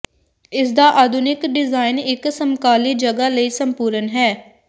ਇਸਦਾ ਆਧੁਨਿਕ ਡਿਜ਼ਾਇਨ ਇੱਕ ਸਮਕਾਲੀ ਜਗ੍ਹਾ ਲਈ ਸੰਪੂਰਨ ਹੈ